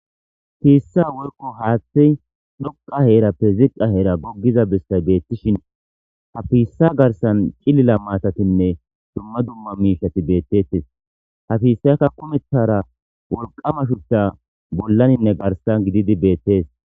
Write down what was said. Fiissa woyko haaththey dhoqa heerappe ziqqa heera goggiza bessay beettishin ha piissa garsan cilila maatatinne dumma dumma miishati beettettes ha piissaykka kumethara wolqama shuchcha bollaninne garsan gididi beettees.